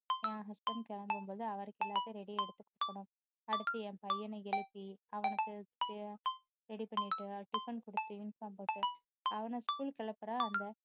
என் husband கிளம்பும் போது அவருக்கு எல்லாத்தையும் ready ஆ எடுத்து கொடுக்கணும். அடுத்து என் பையனை எழுப்பி அவனுக்கு ready பண்ணிட்டு tiffin கொடுத்து uniform போட்டு அவனை school க்கு கிளப்புற அந்த